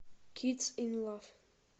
кидс ин лав